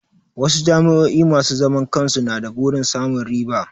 Wasu jami'o'i masu zaman kansu na da burin samun riba.